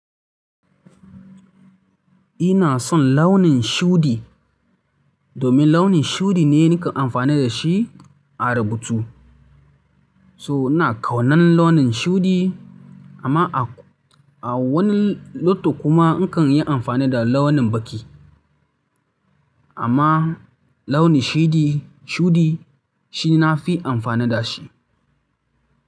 Ina son launin shudi domin launin shudi ne nakan amfani da shi a rubutu. So ina ƙaunan launin shuɗi amma a, a wani loto kuma in kan yi amfani da launin baƙi. Amma launin shidi, shuɗi shi na fi amfani da shi.